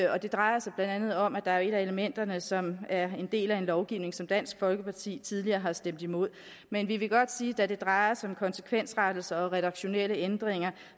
det drejer sig blandt andet om at der er et af elementerne som er en del af en lovgivning som dansk folkeparti tidligere har stemt imod men vi vil godt sige at da det drejer sig om konsekvensrettelser og redaktionelle ændringer